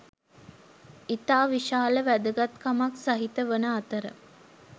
ඉතා විශාල වැදගත්කමක් සහිත වන අතර